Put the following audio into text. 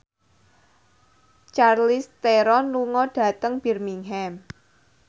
Charlize Theron lunga dhateng Birmingham